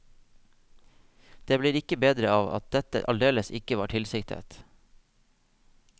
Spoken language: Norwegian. Det blir ikke bedre av at dette aldeles ikke var tilsiktet.